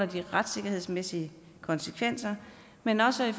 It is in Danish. de retssikkerhedsmæssige konsekvenser men også